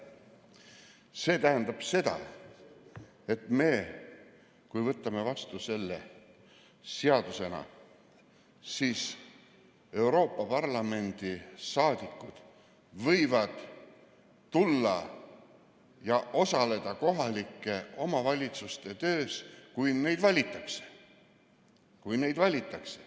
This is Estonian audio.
See tähendab seda, et kui me võtame selle seadusena vastu, siis Euroopa Parlamendi saadikud võivad tulla ja osaleda kohaliku omavalitsuse töös, kui nad sinna valitakse.